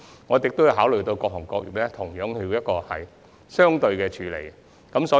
我們亦有考慮到，對各行各業要作出一致的處理。